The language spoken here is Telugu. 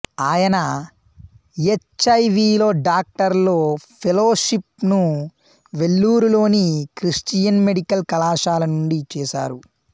ఆయన హెచ్ ఐ విలో డాక్టరల్ ఫెలోషిప్ ను వెల్లూరు లోని క్రిస్టియన్ మెడికల్ కళాశాల నుండి చేసారు